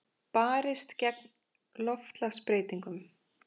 Barist gegn loftslagsbreytingum